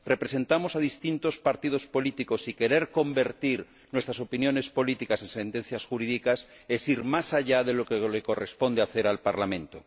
Representamos a distintos partidos políticos, y querer convertir nuestras opiniones políticas en sentencias jurídicas es ir más allá de lo que le corresponde hacer al Parlamento.